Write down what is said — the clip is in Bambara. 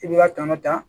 I b'i ka tɔnɔ ta